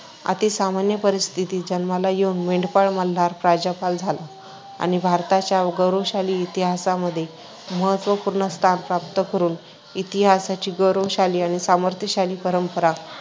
अतिसामान्य परिस्थिती जन्माला येऊन मेंढपाळ मल्हार प्रजापाल झाला आणि भारताच्या गौरवशाली इतिहासामध्ये महत्त्वपूर्ण स्थान प्राप्त करून इतिहासाची गौरवशाली आणि सामर्थ्यशाली परंपरा